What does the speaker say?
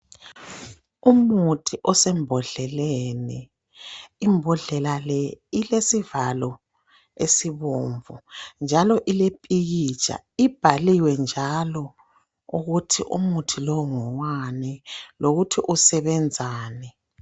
Umuthi osembodleleni, imbodlela le ilesivalo esibomvu njalo ilepikitsha ibhaliwe njalo ukuthi umuthi lo ngowani njalo usebenzani.